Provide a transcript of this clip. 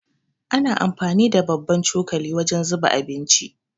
Ana amfani da babban cokali wajen zuba abinci.